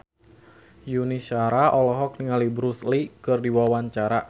Yuni Shara olohok ningali Bruce Lee keur diwawancara